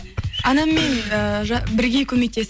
анаммен ііі бірге көмектесіп